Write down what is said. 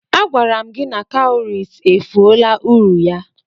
Agwara m gi na cowries efuola uru ya.